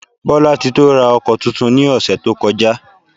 Bolatito ra oko túntún ní osé to kojá.